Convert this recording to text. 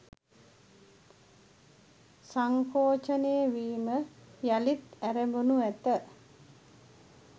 සංකෝචනය වීම යළිත් ඇරඹෙනු ඇත